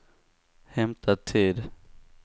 hämta tid